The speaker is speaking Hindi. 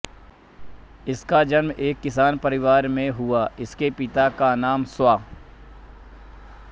इनका जन्म एक किसान परिवार में हुआ इनके पिता का नाम स्व